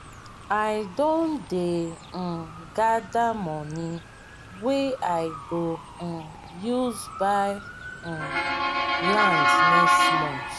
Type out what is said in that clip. i don dey um gada moni wey i go um use buy um land next month.